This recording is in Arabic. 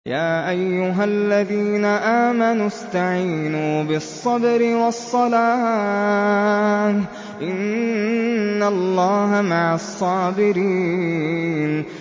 يَا أَيُّهَا الَّذِينَ آمَنُوا اسْتَعِينُوا بِالصَّبْرِ وَالصَّلَاةِ ۚ إِنَّ اللَّهَ مَعَ الصَّابِرِينَ